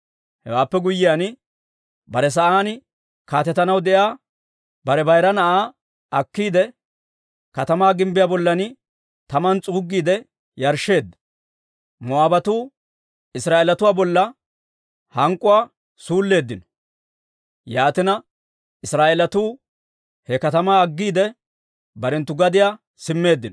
Hewaappe guyyiyaan, bare sa'aan kaatetanaw de'iyaa bare bayira na'aa akkiide, katamaa gimbbiyaa bollan taman s'uuggiide yarshsheedda. Moo'aabatuu Israa'eelatuu bolla hank'k'uwaa suulleeddino. Yaatina Israa'eelatuu he katamaa aggiide, barenttu gadiyaa simmeeddino.